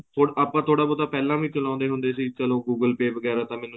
ਹੁਣ ਆਪਾਂ ਥੋੜਾ ਬਹੁਤ ਪਹਿਲਾਂ ਵੀ ਚਲਾਉਦੇ ਹੁੰਦੇ ਸੀ ਚਲੋਂ google pay ਵਗੈਰਾ ਤਾਂ ਮੈਨੂੰ